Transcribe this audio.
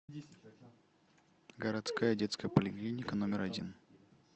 городская детская поликлиника номер один